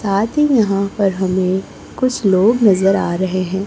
साथ ही यहां पर हमें कुछ लोग नजर आ रहे हैं।